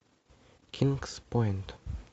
кингс пойнт